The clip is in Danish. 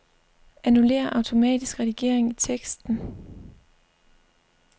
Annullér automatisk redigering i teksten.